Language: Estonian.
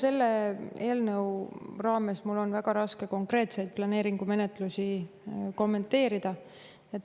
Selle eelnõu raames on mul väga raske konkreetseid planeeringumenetlusi kommenteerida.